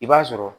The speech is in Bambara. I b'a sɔrɔ